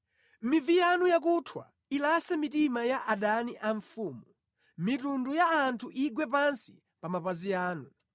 Mivi yanu yakuthwa ilase mitima ya adani a mfumu, mitundu ya anthu igwe pansi pa mapazi anu.